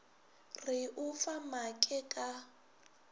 re o fa maake ka